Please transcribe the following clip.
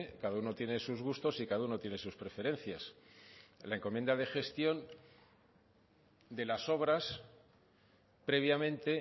cada uno tiene sus gustos y cada uno tiene sus preferencias la encomienda de gestión de las obras previamente